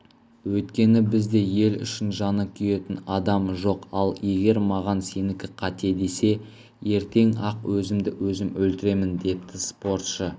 өйткені бізде ел үшін жаны күйетін адам жоқ ал егер маған сенікі қате десе ертең-ақ өзімді өзім өлтіремін депті спортшы